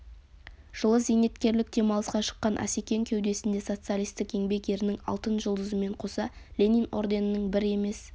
жылы зейнеткерлік демалысқа шыққан асекең кеудесінде социалистік еңбек ерінің алтын жұлдызымен қоса ленин орденінің бір емес